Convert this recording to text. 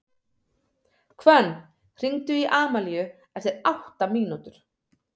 Hvönn, hringdu í Amalíu eftir átta mínútur.